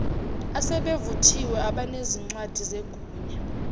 asebevuthiwe abanezincwadi zegunya